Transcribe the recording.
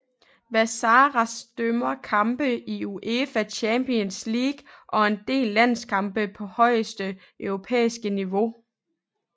Vassaras dømmer kampe i UEFA Champions League og en del landskampe på højeste europæiske niveau